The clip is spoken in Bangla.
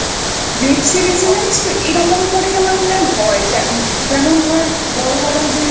Web Series এ জানিস তো এরকম করেই আমার মনে হয় হয় যেমন ধরে বড়ো বড়ো যে